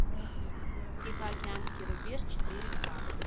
тихоокеанский рубеж четыре ка